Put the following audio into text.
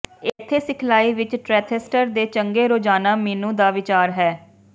ਇੱਥੇ ਸਿਖਲਾਈ ਵਿਚ ਟ੍ਰੈਥੈਸਟਰ ਦੇ ਚੰਗੇ ਰੋਜ਼ਾਨਾ ਮੀਨੂ ਦਾ ਵਿਚਾਰ ਹੈ